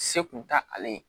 Se kun t'ale ye